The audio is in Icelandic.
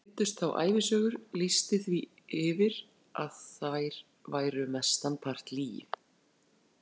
Leiddust þá ævisögur, lýsti því yfir að þær væru mestan part lygi.